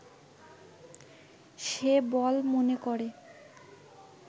সে বল মনে করে